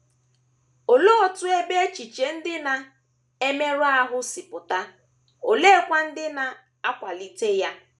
Olee otu ebe echiche ndị na - emerụ ahụ si apụta, oleekwa ndị na - akwalite ya?